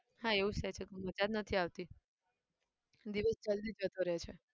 હા એવું જ થાય છે કઈ મજા નથી આવતી. દિવસ જલ્દી જતો રહે છે.